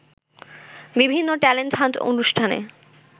বিভিন্ন talent hunt অনুষ্ঠানে